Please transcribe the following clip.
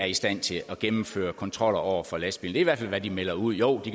er i stand til at gennemføre kontroller over for lastbiler i hvert fald hvad de melder ud jo de